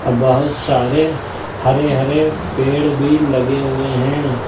अ बहुत सारे हरे हरे पेड़ भी लगे हुए हैं।